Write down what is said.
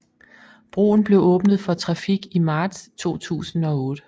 Broen blev åbnet for trafik i marts 2008